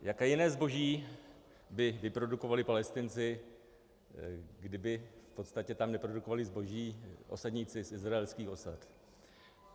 Jaké jiné zboží by vyprodukovali Palestinci, kdyby v podstatě tam neprodukovali zboží osadníci z izraelských osad?